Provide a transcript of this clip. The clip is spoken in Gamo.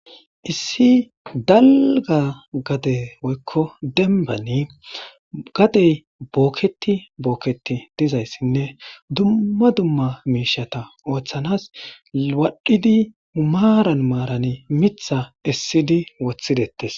Issi dalga gade woykko denbani gadey booketi bookketi dizayssinne dumma dumma miishata ooththanas waadhidi umaaran maarani mitha issidi woththidettes.